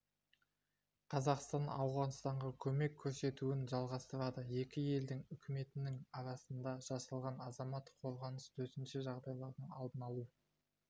қазақстан ауғанстанға көмек көрсетуін жалғастырады екі елдің үкіметінің арасында жасалған азаматтық қорғаныс төтенше жағдайлардың алдын алу